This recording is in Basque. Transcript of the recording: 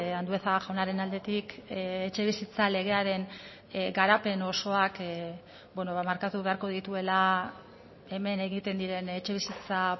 andueza jaunaren aldetik etxebizitza legearen garapen osoak markatu beharko dituela hemen egiten diren etxebizitza